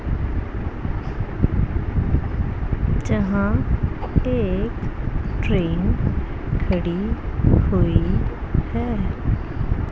जहां एक ट्रेन खड़ी हुई है।